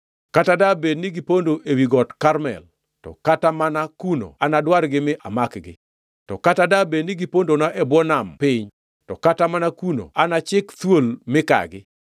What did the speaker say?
Kata dabed ni gipondo ewi got Karmel, to kata mana kuno anadwargi mi amakgi. To kata dabed ni gipondona e bwo nam piny, to kata mana kuno anachik thuol mikagi.